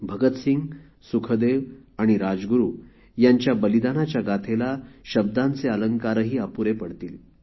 भगतसिंग सुखदेव आणि राजगुरु यांच्या बलिदानाच्या गाथेला शब्दांचे अलंकार अपुरे पडतील